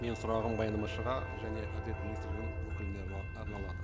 менің сұрағым баяндамашыға және әділет министрлігінің өкіліне арналады